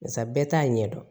Barisa bɛɛ t'a ɲɛdɔn